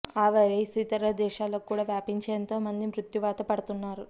ఆ వైరస్ ఇతర దేశాలకు కూడా వ్యాపించి ఎంతో మంది మృత్యువాత పడుతున్నారు